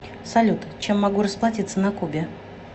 салют чем могу расплатиться на кубе